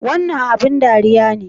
Wannan abin ɗariya ne?